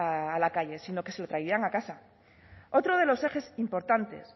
saliera a la calle sino que se lo trajeran a casa otro de los ejes importantes